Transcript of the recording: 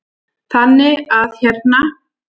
Þannig að hérna.